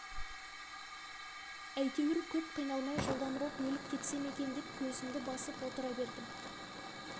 әйтеуір көп қиналмай жылдамырақ өліп кетсем екен деп көзімді басып отыра бердім